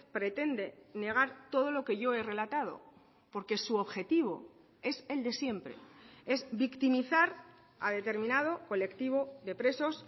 pretende negar todo lo que yo he relatado porque su objetivo es el de siempre es victimizar a determinado colectivo de presos